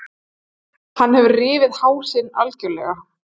Hann hefur rifið hásin algjörlega.